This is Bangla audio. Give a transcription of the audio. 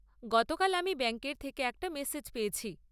গতকাল আমি ব্যাংকের থেকে একটা মেসেজ পেয়েছি।